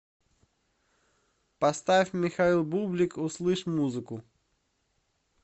поставь михаил бублик услышь музыку